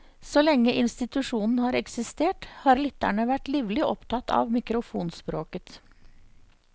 Så lenge institusjonen har eksistert, har lytterne vært livlig opptatt av mikrofonspråket.